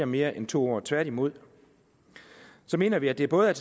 mere end to år tværtimod mener vi at det både er